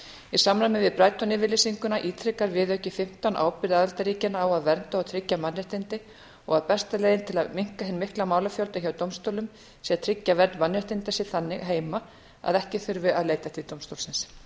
í samræmi við brighton yfirlýsinguna ítrekar viðauki fimmtán ábyrgð aðildarríkjanna á að vernda og tryggja mannréttindi og besta leiðin til að minnka hinn mikla málafjölda hjá dómstólnum sé að tryggja vernd mannréttinda sé þannig heima að ekki þurfi að leita til dómstólsins